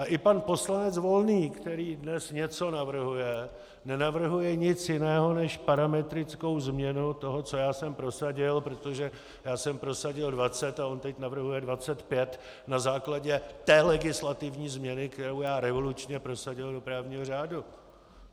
A i pan poslanec Volný, který dnes něco navrhuje, nenavrhuje nic jiného než parametrickou změnu toho, co já jsem prosadil, protože já jsem prosadil 20 a on teď navrhuje 25 na základě té legislativní změny, kterou já revolučně prosadil do právního řádu.